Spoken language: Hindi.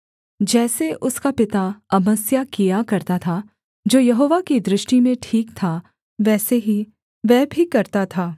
जैसे उसका पिता अमस्याह किया करता था जो यहोवा की दृष्टि में ठीक था वैसे ही वह भी करता था